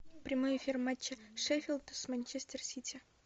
прямой эфир матча шеффилд с манчестер сити